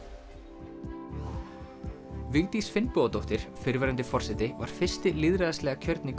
Vigdís Finnbogadóttir fyrrverandi forseti var fyrsti lýðræðislega kjörni